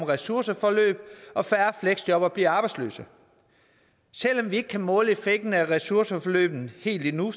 ressourceforløb og færre fleksjobbere bliver arbejdsløse selv om vi ikke kan måle effekten af ressourceforløbene helt endnu